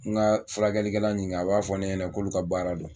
N ka furakɛlikɛla ɲininka a b'a fɔ ne ɲɛnɛ k'olu ka baara don.